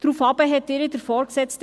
Darauf sagte der Vorgesetzte: